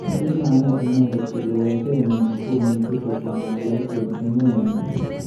Kimanai inendet kole weket nyi komuch kokon walet eng emet nyi.